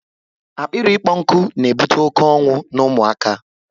Akpịrị ịkpọ nkụ na ebute oké ọnwụ n'ụmụ aka